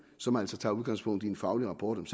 som altså tager udgangspunkt i en faglig rapport om